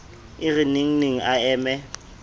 e re nengneng a eme